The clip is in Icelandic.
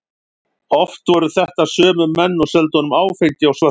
Oft voru þetta sömu menn og seldu honum áfengi á svörtu.